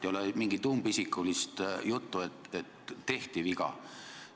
Ei ole mingit umbisikulist juttu, et tehti viga.